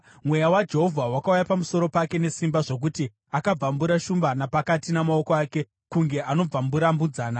Mweya waJehovha wakauya pamusoro pake nesimba zvokuti akabvambura shumba napakati namaoko ake kunge anobvambura mbudzana.